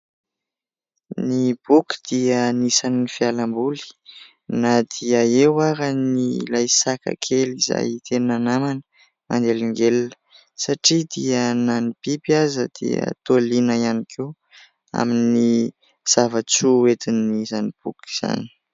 Ny boky dia anisan'ny fialamboly na dia eo ary ilay saka kely izay tena namana manelingelina satria dia na ny biby aza dia toa liana ihany koa amin'ny zava-tsoa entin'izany boky izany.